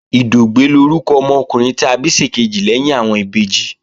Ìdògbẹ́ lórúkọ ọmọkùnrin ta bí ṣèkejì lẹ́yìn àwọn ìbejì